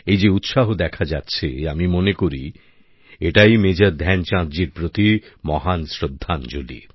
এই যে উৎসাহ দেখা যাচ্ছে আমি মনে করি এটাই মেজর ধ্যানচাঁদজির প্রতি মহান শ্রদ্ধাঞ্জলী